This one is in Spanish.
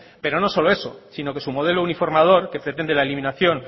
pero no solo eso sino que su modelo uniformador que pretende la eliminación